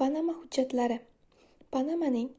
panama hujjatlari - panamaning